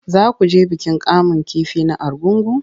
Za ku je bikin kamun kifi na Argungu?